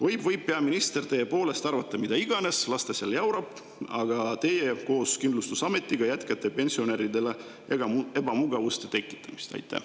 Või võib peaminister teie poolest arvata mida iganes, las ta seal jaurab, aga teie koos kindlustusametiga jätkate pensionäridele ebamugavuste tekitamist?